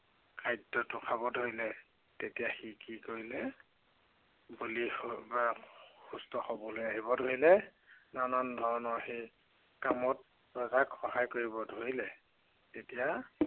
খাদ্য় খাবলৈ ধৰিলে। তেতিয়া সি কৰিলে, বলি হৈ বা সুস্থ হৈ আহিব ধৰিলে। নানান ধৰণৰ সি কামত ৰজাক সহায় কৰিব ধৰিলে। তেতিয়া